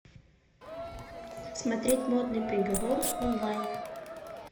смотреть модный приговор онлайн